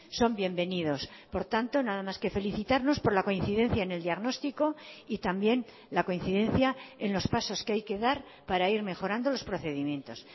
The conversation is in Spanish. son bienvenidos por tanto nada más que felicitarnos por la coincidencia en el diagnóstico y también la coincidencia en los pasos que hay que dar para ir mejorando los procedimientos